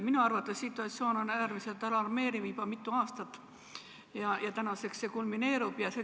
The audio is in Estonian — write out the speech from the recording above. Minu arvates on situatsioon olnud äärmiselt alarmeeriv juba mitu aastat ja tänaseks see kulmineerub.